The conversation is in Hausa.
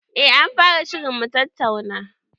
Eh anfara shirin mutattauna